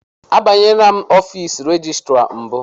Abanyela ọfiisi rejistra mbụ.